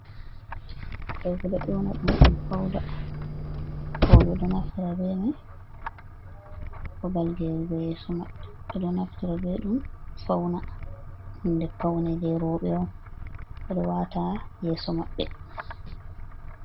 Ɗo ɓeɗo ewna ɗum fauda, roɓe ɗo naftira be mai babal gerugo yeso mabbe, ɓeɗo naftira be ɗum fauna hunde paune je roɓe on ɓeɗo wata ha yeso maɓɓe.